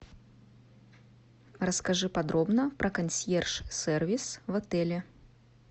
расскажи подробно про консьерж сервис в отеле